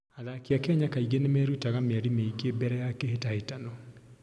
Athaki a Kenya kaingĩ nĩ merutaga mĩeri mĩingĩ mbere ya kĩhĩtahĩtano.